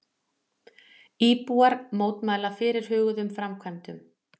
Íbúar mótmæla fyrirhuguðum framkvæmdum